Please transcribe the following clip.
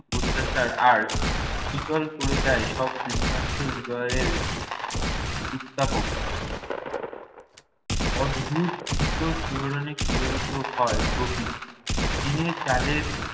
প্রত্যাশার আর শীতল করে দেয় সব তৃষ্ণার্ত হৃদয়ের উত্তাপকে। অদ্ভুত সুন্দর শিহরণে শিহরিত হয় প্রকৃতি। টিনের চালের